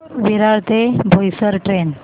विरार ते बोईसर ट्रेन